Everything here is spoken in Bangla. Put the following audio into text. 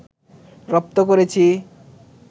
রপ্ত করেছি